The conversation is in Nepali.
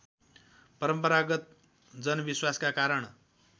परम्परागत जनविश्वासका कारण